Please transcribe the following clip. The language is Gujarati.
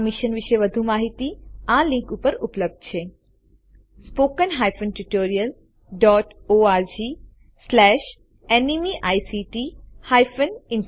મિશન વિષે વધુ જાણકારી લિંક httpspoken tutorialorgNMEICT Intro ઉપર ઉપલબ્ધ છે